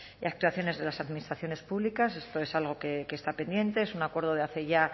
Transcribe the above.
y actuaciones de las administraciones públicas esto es algo que está pendiente es un acuerdo de hace ya